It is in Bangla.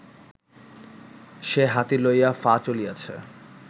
সে হাতি লইয়া ফা- চলিয়াছে